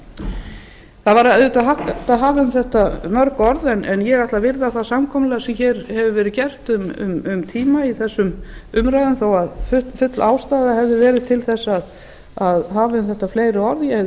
það væri auðvitað hægt að hafa um þetta mörg orð en ég ætla að virða það samkomulag sem hér hefur verið gert um tíma í þessum umræðum þó að full ástæða hefði verið til þess að hafa um þetta fleiri orð ég hefði